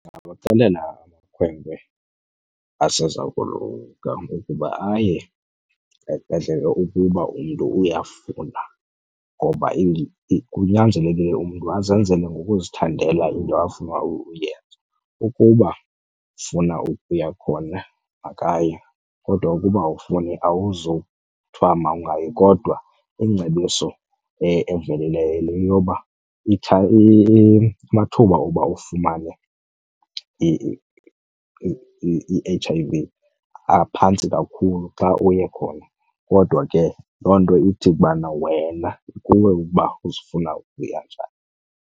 Ndingabaxelela amakhwenkwe aseza koluka ukuba aye esibhedlele ukuba umntu uyafuna ngoba kunyanzelekile umntu azenzele ngokuzithandela into afuna ukuyenza. Ukuba ufuna ukuya khona makaye, kodwa ukuba awufuni awuzuthwa mawungayi. Kodwa ingcebiso evelileyo yoba amathuba oba ufumane i-H_I_V aphantsi kakhulu xa uye khona. Kodwa ke loo nto ithi ubana wena kukuwe uba uzifuna ukuya njani.